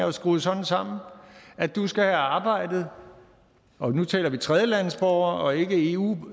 er skruet sådan sammen at du skal have arbejdet og nu taler vi om tredjelandes borgere og ikke eu